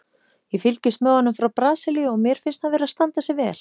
Ég fylgist með honum frá Brasilíu og mér finnst hann vera að standa sig vel.